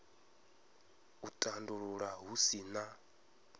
u tandulula hu si na